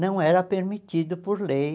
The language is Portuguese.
Não era permitido por lei